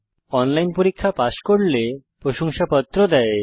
যারা অনলাইন পরীক্ষা পাস করে তাদের প্রশংসাপত্র দেওয়া হয়